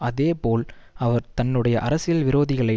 அதேபோல் அவர் தன்னுடைய அரசியல் விரோதிகளை